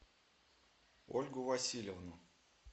ольгу васильевну